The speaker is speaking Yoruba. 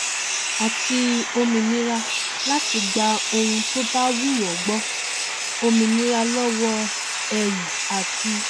àti òmìnira láti gba ohun tó bá wù wọn gbọ òmìnira lọwọ ẹrù àti